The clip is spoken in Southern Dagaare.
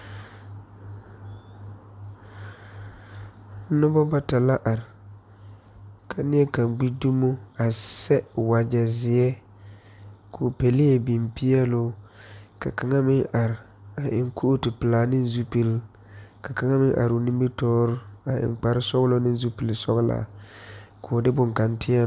Nobɔ bata la are ka neɛ kaŋ gbi dumo a sɛ wagyɛ zeɛ koo pɛlee biŋ peɛloo ka kaŋa meŋ are eŋ kootu pelaa neŋ zupil ka kaŋa meŋ aroo nimitoore a eŋ kparesɔglɔ ne zupile sɔglaa koo de bonkaŋ tēɛ.